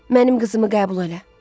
Mənim qızımı qəbul elə.